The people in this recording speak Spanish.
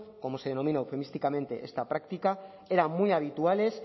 como se denomina eufemísticamente esta práctica eran muy habituales